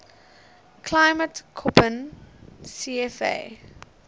climate koppen cfa